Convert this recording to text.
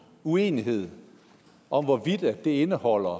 uenighed om hvorvidt det indeholder